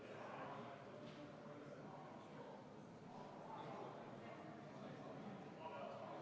Kui teiega rääkida samas keeles, siis võib öelda, et kahtlemata me võime jõuda välja kuhu iganes, rääkides sellest, kui valge mees on läinud Aafrikasse demokraatiat viima.